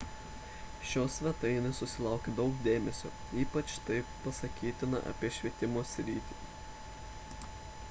šios svetainės susilaukė daug dėmesio ypač tai pasakytina apie švietimo sritį